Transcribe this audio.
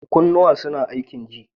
Kunnuwa suna aikin ji.